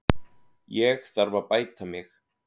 Ég þarf að bæta mig.